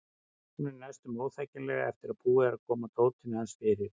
Hún er næstum óþekkjanleg eftir að búið er að koma dótinu hans fyrir.